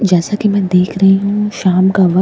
जैसा कि मैं देख रही हूं शाम का व--